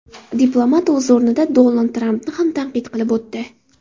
Diplomat, o‘z o‘rnida, Donald Trampni ham tanqid qilib o‘tdi.